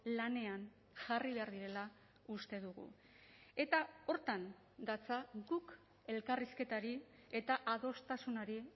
lanean jarri behar direla uste dugu eta horretan datza guk elkarrizketari eta adostasunari